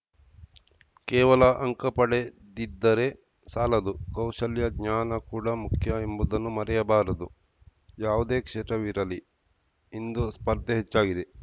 ಕೇವಲ ಅಂಕ ಪಡೆದಿದ್ದರೆ ಸಾಲದು ಕೌಶಲ್ಯ ಜ್ಞಾನ ಕೂಡ ಮುಖ್ಯ ಎಂಬುದನ್ನು ಮರೆಯಬಾರದು ಯಾವುದೇ ಕ್ಷೇತ್ರವಿರಲಿ ಇಂದು ಸ್ಪರ್ಧೆ ಹೆಚ್ಚಾಗಿದೆ